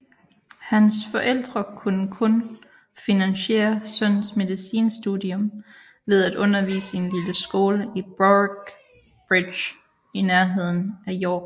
Hans forældre kunne kun finansiere sønnens medicinstudium ved at undervise i en lille skole i Boroughbridge i nærheden af York